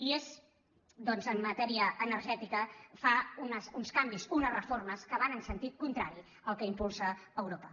i en matèria energètica fa uns canvis unes reformes que van en sentit contrari al que impulsa europa